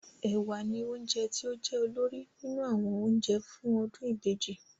Ẹ̀wà ni oúnjẹ tí ó jẹ́ olórí nínú àwọn oúnjẹ fún ọdún ìbejì